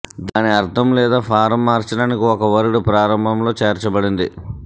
దాని అర్థం లేదా ఫారం మార్చడానికి ఒక వర్డ్ ప్రారంభంలో చేర్చబడింది